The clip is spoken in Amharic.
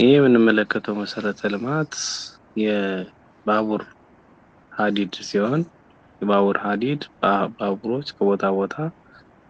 ይህ የምንመለከተው መሰረተ ልማት የባቡር ሀዲድ ሲሆን የባቡር ሀዲድ ባቡሮች ከቦታ ቦታ